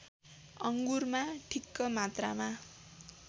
अङ्गुरमा ठिक्क मात्रामा